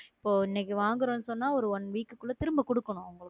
இப்போ, இன்னைக்கு வாங்குறோம்ன்னு சொன்னா ஒரு one week க்குள்ளே திரும்ப கொடுக்கணும்